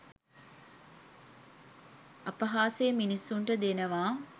අපහාසය මිනිසුන්ට දෙනවා